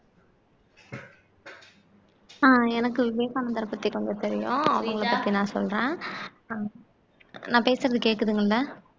அஹ் எனக்கு விவேகானந்தரை பத்தி கொஞ்சம் தெரியும் அவங்களை பத்தி நான் சொல்றேன் நான் பேசுறது கேக்குதுங்களா